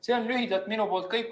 See on lühidalt kõik.